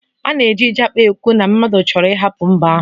A na-eji Japa ekwu na mmadụ chọrọ ịhapụ mba ahụ